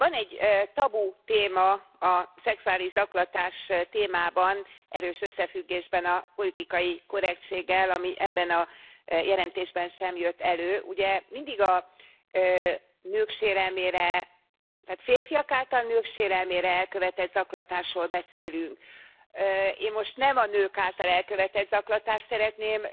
Van egy tabutéma a szexuális zaklatás témában erős összefüggésben a politikai korrektséggel, ami ebben a jelentésben sem jött elő. Ugye, mindig a nők sérelmére, tehát férfiak által nők sérelmére elkövetett zaklatásról beszélünk. Én most nem a nők által elkövetett zaklatást szeretném